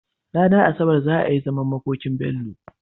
Ranar asabar za a yi zaman makokin Bello